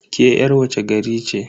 Ke yar wace gari ce?